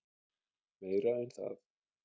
Meira en það.